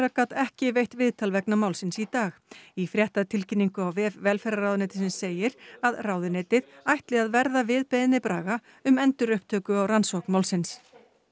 gat ekki veitt viðtal vegna málsins í dag í fréttatilkynningu á vef velferðarráðuneytisins segir að ráðuneytið ætli að verða við beiðni Braga um endurupptöku á rannsókn málsins